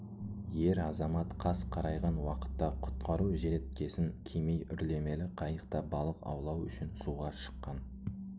ер азамат қас қарайған уақытта құтқару желеткесін кимей үрлемелі қайықта балық аулау үшін суға шыққан